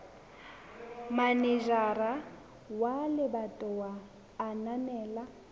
manejara wa lebatowa a ananela